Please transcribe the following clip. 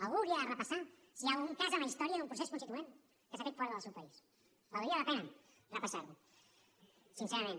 algú hauria de repassar si hi ha algun cas en la història d’un procés constituent que s’ha fet fora del seu país valdria la pena repassar ho sincerament